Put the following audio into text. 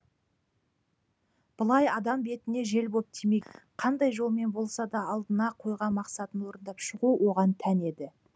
былай адам бетіне жел боп тиме қандай жолмен болса да алдына қойған мақсатын орындап шығу оған тән еді